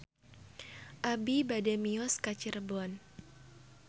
Abi bade mios ka Cirebon